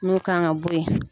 N'u kan ka bɔ ye.